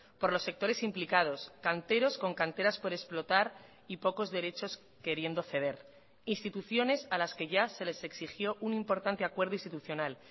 por los sectores implicados canteros con canteras por explotar y pocos derechos queriendo ceder instituciones a las que ya se les exigió un importante acuerdo institucional